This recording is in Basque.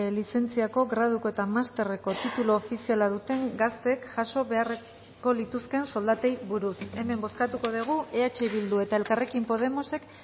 lizentziako graduko eta masterreko titulu ofiziala duten gazteek jaso beharko lituzkeen soldatei buruz hemen bozkatuko dugu eh bildu eta elkarrekin podemosek